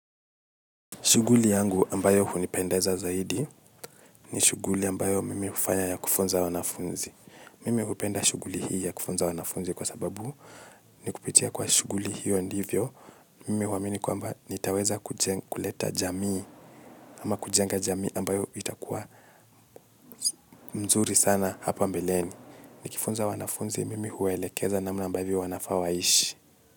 Shughuli yangu ambayo hunipendeza zaidi ni shughuli ambayo mimi hufanya ya kufunza wanafunzi. Mimi hupenda shughuli hii ya kufunza wanafunzi kwa sababu ni kupitia kwa shughuli hiyo ndivyo mimi huamini kwamba nitaweza kuleta jamii ama kujenga jamii ambayo itakuwa mzuri sana hapa mbeleni. Nikifunza wanafunzi mimi huwaelekeza namna ambavyo wanafaa waishi.